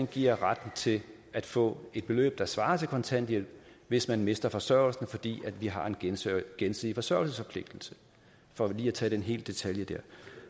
giver retten til at få et beløb der svarer til kontanthjælp hvis man mister forsørgelsen fordi vi har en gensidig gensidig forsørgelsesforpligtelse for lige at tage den lille detalje dér